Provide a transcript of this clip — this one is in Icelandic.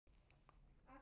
Þá hló